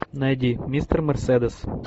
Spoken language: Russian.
найди мистер мерседес